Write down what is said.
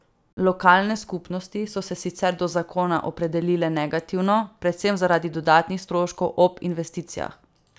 Lokalne skupnosti so se sicer do zakona opredelile negativno, predvsem zaradi dodatnih stroškov ob investicijah.